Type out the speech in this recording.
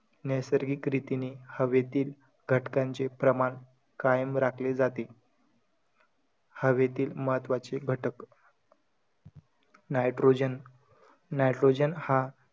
नैसर्गिक रीतीने हवेतील घटकांचे प्रमाण कायम राखले जाते. हवेतील महत्त्वाचे घटक, nitrogen, nitrogen हा,